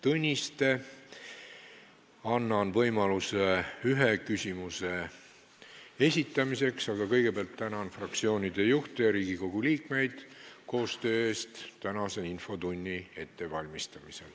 Annan iga teema arutelul võimaluse ühe lisaküsimuse esitamiseks, aga kõigepealt tänan fraktsioonide juhte ja Riigikogu liikmeid koostöö eest tänase infotunni ettevalmistamisel.